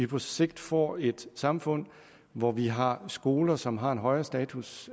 på sigt får et samfund hvor vi har skoler som har en højere status